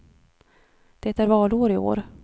Det är valår i år.